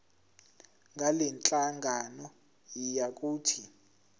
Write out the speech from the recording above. ngalenhlangano yiya kut